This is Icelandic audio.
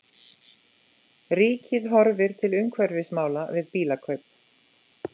Ríkið horfir til umhverfismála við bílakaup